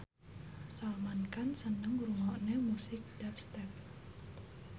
Salman Khan seneng ngrungokne musik dubstep